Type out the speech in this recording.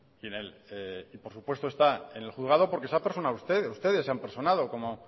y por supuesto está en el juzgado porque se han personado ustedes ustedes se han personado como